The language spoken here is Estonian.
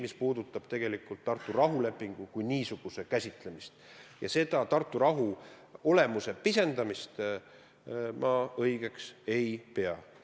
Mis puudutab tegelikult Tartu rahulepingu kui niisuguse käsitlemist, siis Tartu rahu olemuse pisendamist ma õigeks ei pea.